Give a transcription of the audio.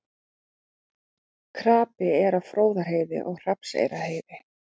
Krapi er á Fróðárheiði og Hrafnseyrarheiði